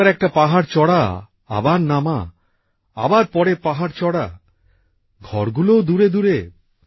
একবার একটা পাহাড় চড়া আবার নামা আবার পরের পাহাড় চড়া ঘর গুলোও দূরে দূরে